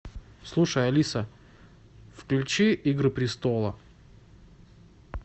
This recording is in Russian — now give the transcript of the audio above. слушай алиса включи игры престола